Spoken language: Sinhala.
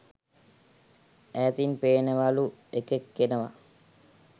ඈතින් පේනවලු එකෙක් එනවා